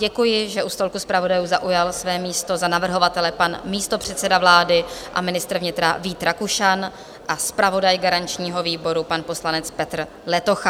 Děkuji, že u stolku zpravodajů zaujal své místo za navrhovatele pan místopředseda vlády a ministr vnitra Vít Rakušan a zpravodaj garančního výboru, pan poslanec Petr Letocha.